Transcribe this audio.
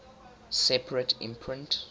separate imprint